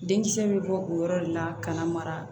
Denkisɛ bɛ bɔ o yɔrɔ de la ka na mara